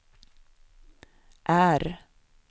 R